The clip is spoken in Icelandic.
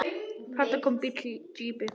Þarna kom bíll, jeppi.